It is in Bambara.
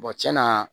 tiɲɛna